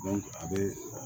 a bɛ